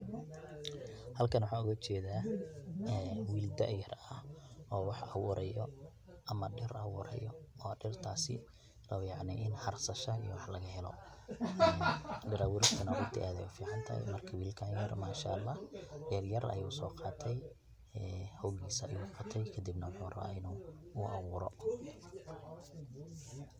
Xalkan waxan ogajedha enn, wil daayar axx oo wax awurayo ama dir awurayo, o dirtasii o yacni in xarsashaa iyo wax lagaxelo, dir awuristanaa runti ad aya uficantexee, marka wilkan yar manshaalax, ged yar ayusogate, xogisaa ayu qote kadib na muxu rawaa inu gotee.